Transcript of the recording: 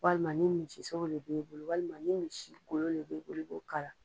Walima ni misisogo de b'i bolo walima ni misi golo de b'i bolo i b'o k'a la.